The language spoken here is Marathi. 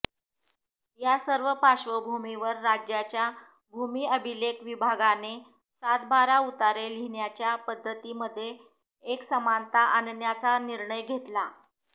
या सर्व पार्श्वभूमीवर राज्याच्या भूमि अभिलेख विभागाने सातबारा उतारे लिहण्याच्या पद्धतीमध्ये एकसमानता आणण्याचा निर्णय घेतला